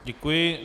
Děkuji.